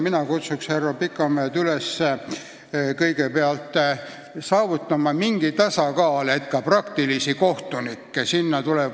Mina kutsun härra Pikamäed üles saavutama mingit tasakaalu, nii et ka praktikutest kohtunikke sinna tuleks.